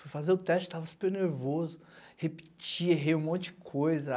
Fui fazer o teste, tava super nervoso, repeti, errei um monte de coisa.